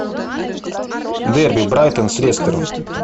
дерби брайтон с лестером